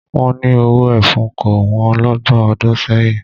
Wọ́n ni owó ẹfun kò wọ́n lọ́gbọ̀n ọdún sẹ́yìn